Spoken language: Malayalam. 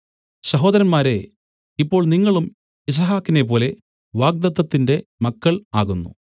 സഹോദരന്മാരേ ഇപ്പോൾ നിങ്ങളും യിസ്ഹാക്കിനേപ്പോലെ വാഗ്ദത്തത്തിന്റെ മക്കൾ ആകുന്നു